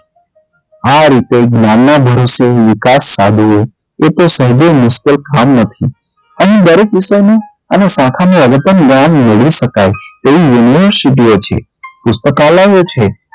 આ રીતે જ્ઞાન ના ભરોસે વિકાસ સાધવો એ કોઈ સહેજે મુશ્કેલ કામ નથી અને દરેક વિષય ને અને શાખા ને જ્ઞાન મેળવી શકાય છે તેવી સિદ્ધિઓ છે પુસ્તકાલયો છે